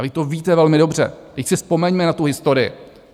A vy to víte velmi dobře, vždyť si vzpomeňme na tu historii.